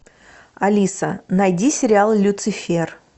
алиса найди сериал люцифер